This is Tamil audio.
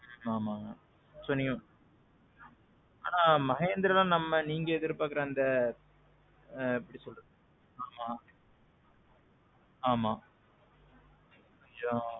ம்ம். ஆமாங்க. so, நீங்க. ஆனான் Mahindraல நீங்க எதிர்பாக்குற அந்த, ஆ. எப்பிடி சொல்ல, ஆமாம்.